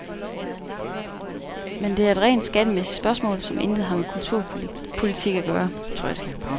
Men det er et rent skattemæssigt spørgsmål, som intet har med kulturpolitik at gøre.